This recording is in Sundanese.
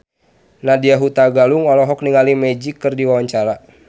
Nadya Hutagalung olohok ningali Magic keur diwawancara